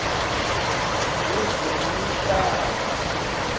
wezemihlaba